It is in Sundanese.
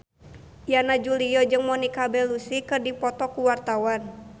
Yana Julio jeung Monica Belluci keur dipoto ku wartawan